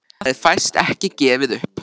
En hvað það er fæst ekki gefið upp.